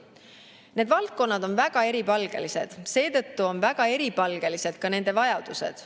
Need valdkonnad on väga eripalgelised, seetõttu on väga eripalgelised ka nende vajadused.